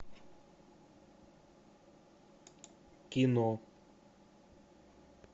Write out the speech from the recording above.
кино